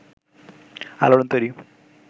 আলোড়ন তৈরি